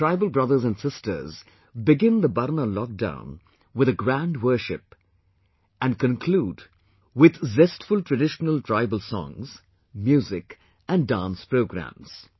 Our tribal brothers and sisters begin the Barna lockdown with a grand worship and conclude with jestful traditional tribal songs, music and dance programmes